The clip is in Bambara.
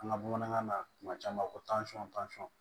An ka bamanankan na tuma caman ko tansɔn tansɔn